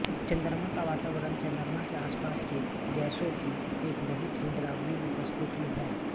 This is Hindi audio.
चंद्रमा का वातावरण चंद्रमा के आसपास की गैसों की एक बहुत ही डरावनी उपस्थिति है